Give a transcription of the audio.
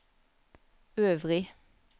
øvrig